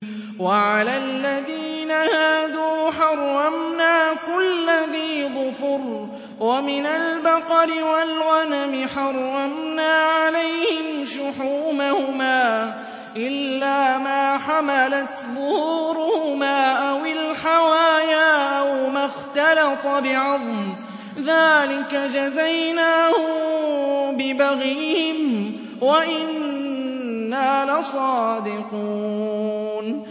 وَعَلَى الَّذِينَ هَادُوا حَرَّمْنَا كُلَّ ذِي ظُفُرٍ ۖ وَمِنَ الْبَقَرِ وَالْغَنَمِ حَرَّمْنَا عَلَيْهِمْ شُحُومَهُمَا إِلَّا مَا حَمَلَتْ ظُهُورُهُمَا أَوِ الْحَوَايَا أَوْ مَا اخْتَلَطَ بِعَظْمٍ ۚ ذَٰلِكَ جَزَيْنَاهُم بِبَغْيِهِمْ ۖ وَإِنَّا لَصَادِقُونَ